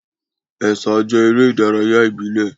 Ẹ̀sà jẹ́ eré ìdárayá ìbílẹ̀.